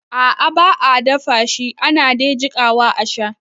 A'a ba a dafashi ana de jikawa a sha